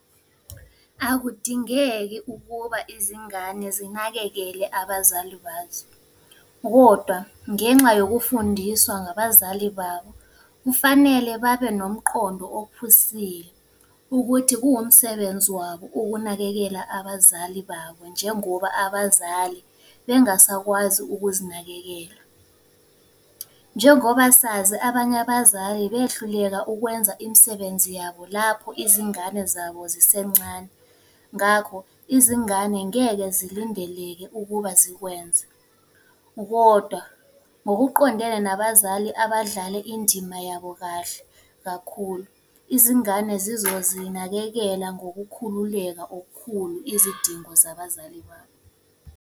Akudingeki ukuba izingane zinakekele abazali bazo, kodwa ngenxa yokufundiswa ngabazali babo, kufanele babe nomqondo ophusile ukuthi kuwumsebenzi wabo ukunakekela abazali babo njengoba abazali bengasakwazi ukuzinakekela. Njengoba sazi abanye abazali behluleka ukwenza imisebenzi yabo lapho izingane zabo zisencane, ngakho izingane ngeke zilindeleke ukuba zikwenza. Kodwa ngokuqondene nabazali abadlale indima yabo kahle kakhulu, izingane zizozinakekela ngokukhululeka okukhulu izidingo zabazali babo.